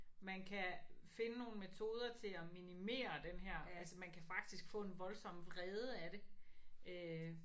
Man kan finde nogle metoder til at minimere den her altså man kan faktisk få en voldsom vrede af det øh